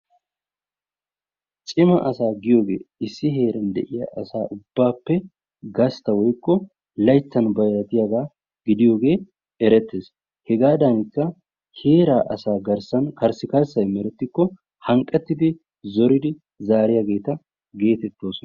Cima asaa giyogee issi heeran de"iya asaa ubbaappe gastta woykko layttan bayratiyagaa gidiyogee erettes. Hegaadankka heeraa asaa garssan karssikarssayi merettikko hanqqettidi zoridi zaariyageeta geetettoosona.